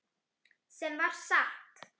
Sem var satt.